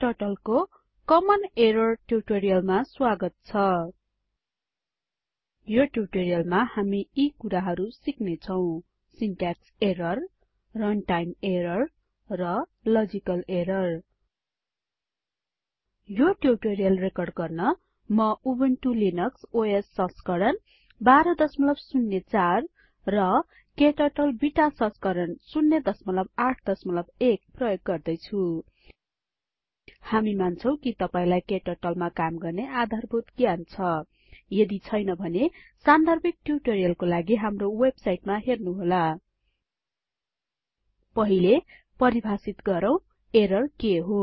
KTurtleमा common errors ट्युटोरीअलमा स्वागत छ यो ट्युटोरीअलमा हामी यी कुराहरु सिक्नेछौं सिनट्याक्स एरर्स रनटाइम एरर्स र लजिकल एरर्स यो ट्युटोरीअल रेकर्ड गर्न म उबुन्टु लिनक्स ओएस संस्करण १२०४ रKTurtle बिटा संस्करण ०८१ प्रयोग गर्दैछु हामी मान्छौं कि तपाइलाई KTurtleमा काम गर्ने आधारभूत ज्ञान छ यदि छैन भने सान्दर्भिक ट्युटोरीअलको लागि हाम्रो वेबसाइटमा हेर्नुहोला httpspoken tutorialorg पहिले परिभाषित गरौँ एरर के हो